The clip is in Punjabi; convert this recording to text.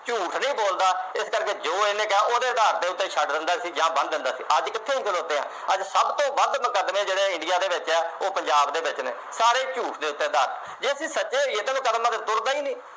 ਝੂਠ ਨਹੀਂ ਬੋਲਦਾ ਇਸ ਕਰਕੇ ਜੋ ਇਹਨੇ ਕਿਹਾ ਓਹ ਦੇ ਆਧਾਰ ਤੇ ਛੱਡ ਦਿੰਦਾ ਸੀ ਜਾਂ ਬੰਨ ਦਿੰਦਾ ਸੀ ਅੱਜ ਅਸੀਂ ਕਿਥੇ ਅਹੀ ਖਲੋਤੇ ਹਾਂ ਅੱਜ ਸਭ ਤੋਂ ਵੱਧ ਮੁਕੱਦਮੇ ਜਿਹਨੇ india ਦੇ ਵਿਚ ਆ ਉਹ ਪੰਜਾਬ ਦੇ ਵਿਚ ਨੇ ਸਾਰੇ ਝੂਠ ਦੇ ਉਤੇ ਜੇ ਅਸੀਂ ਸੱਚੇ ਹੋਇਏ ਤਾਂ ਮੁਕੱਦਮਾ ਤਾਂ ਤੁਰਦਾ ਹੀ ਨਹੀਂ